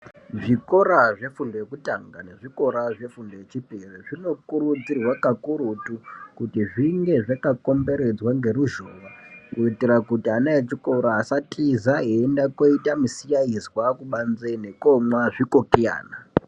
Zvikora zvefundo yekutanga nezvikora zvefundo yechipiri zvinokurudzirwa kakurutu, kuti zvinge zvakakomberedzwa ngeruzhowa, kuitira kuti ana echikora asatiza eienda koita misikaizwa kubanze nekomwa zvikokiyana.